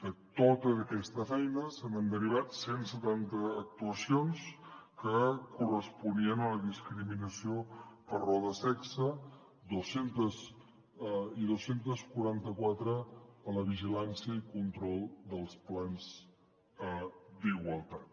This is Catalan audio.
de tota aquesta feina se n’han derivat cent i setanta actuacions que corresponien a la discriminació per raó de sexe i dos cents i quaranta quatre a la vigilància i control dels plans d’igualtat